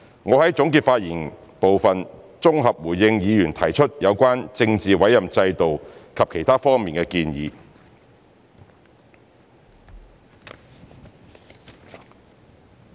我會在總結發言部分綜合回應議員提出有關政治委任制度及其他方面的建議。